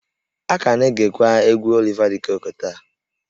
A ka na-egekwa egwú Oliva de Coque taa